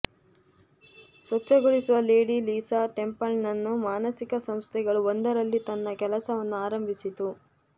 ಸ್ವಚ್ಛಗೊಳಿಸುವ Lady Lisa Templeton ಮಾನಸಿಕ ಸಂಸ್ಥೆಗಳು ಒಂದರಲ್ಲಿ ತನ್ನ ಕೆಲಸವನ್ನು ಆರಂಭಿಸಿತು